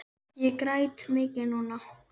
Ég græt mikið núna.